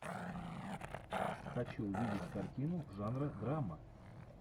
хочу увидеть картину жанра драма